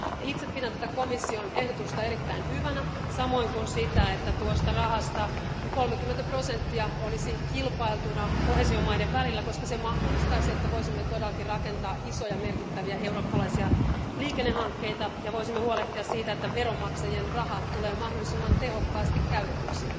Itse pidän tätä komission ehdotusta erittäin hyvänä samoin kuin sitä, että tuosta rahasta 30 prosenttia olisi kilpailtuna koheesiomaiden välillä, koska se mahdollistaisi, että voisimme todellakin rakentaa isoja merkittäviä eurooppalaisia liikennehankkeita ja huolehtia siitä, että veronmaksajien raha tulee mahdollisimman tehokkaasti käytetyksi.